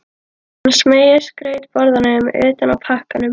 Hún smeygir skrautborðanum utan af pakkanum.